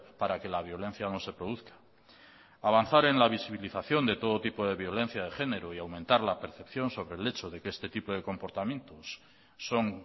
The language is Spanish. para que la violencia no se produzca avanzar en la visibilización de todo tipo de violencia de género y aumentar la percepción sobre el hecho de que este tipo de comportamientos son